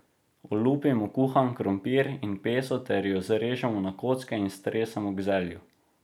Olupimo kuhan krompir in peso ter ju zrežemo na kocke in stresemo k zelju.